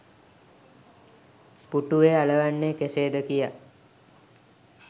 පුටුවේ අලවන්නේ කෙසේද කියා